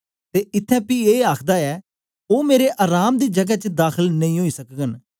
ते इत्त्थैं पी ए आखदा ऐ ओ मेरे अराम दी जगै च दाखल नेई ओई सकगन